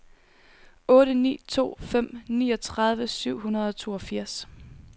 otte ni to fem niogtredive syv hundrede og toogfirs